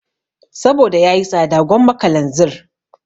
Saboda yayi tsada gwamma kalanzir